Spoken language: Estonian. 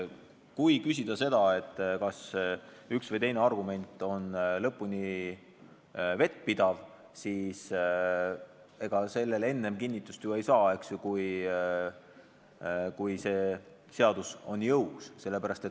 Kui te küsite, kas üks või teine argument on lõpuni vettpidav, siis ega sellele enne ju kinnitust ei saa, kui see seadus on jõus.